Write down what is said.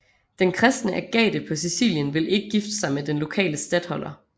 Den kristne Agathe på Sicilien vil ikke gifte sig med den lokale statholder